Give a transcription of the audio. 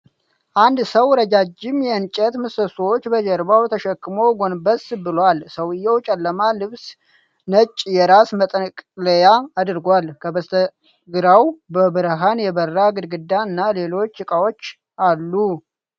አንድ ሰው ረጃጅም የእንጨት ምሰሶን በጀርባው ተሸክሞ ጎንበስ ብሏል፡፡ ሰውዬው ጨለማ ልብስና ነጭ የራስ መጠቅለያ አድርጓል፡፡ ከበስተግራው በብርሃን የበራ ግድግዳ እና ሌሎች እቃዎች አሉ፡፡